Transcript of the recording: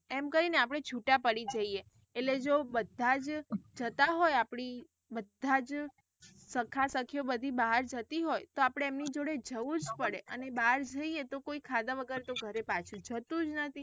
એમ કઈ ને આપડે છુટા પડી જઇયે એટલે જો બધા જ જતા હોય આપડી બધાજ સખા સાખીયો બધી બહાર જતી હોય તો આપડે એમની જોડે જવું જ પડે અને બહાર જઇયે તો કોઈ ખાધા વગર તો ઘરે પાછું જતું જ નથી.